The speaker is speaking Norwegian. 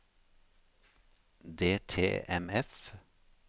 DTMF